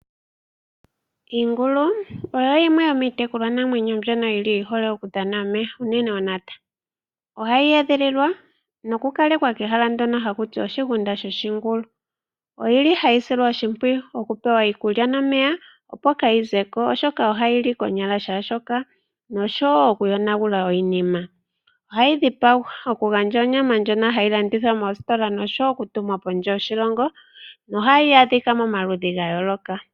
Iinglu oyo yimwe yo miitekulwa namwenyo mbyono yili yihole okudhana omeya unene ontopo. Ohayi edhililwa noku kalekwa kehala ndjonl haku tiwa oshigunda shoshingulu. Oyili hayi silwa oshimpwiyu okupewa iikulya nomeya opo kayi zeko oshoka ohayili konyala kehe shoka noshowo oku yonagula iinima. Ohayi dhipagwa okugandja onyama ndjono hayi landithwa moositola noshowo okutuma pondje yoshilongo, no hayi adhika momaludhi ga yooloka.